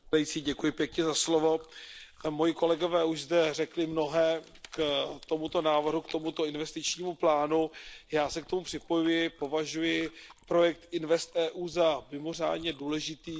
Pane předsedající, moji kolegové už zde řekli mnohé k tomuto návrhu, k tomuto investičnímu plánu. Já se k tomu připojuji, považuji projekt InvestEU za mimořádně důležitý.